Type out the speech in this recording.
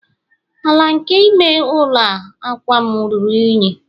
ala nke ime ụlọ a akwa'm ruru unyi